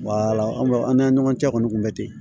an b'a an n'an ɲɔgɔn cɛ kɔni kun bɛ ten